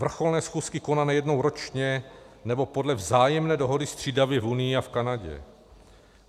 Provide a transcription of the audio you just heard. Vrcholné schůzky konané jednou ročně nebo podle vzájemné dohody střídavě v Unii a v Kanadě.